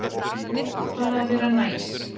Bara að vera næs.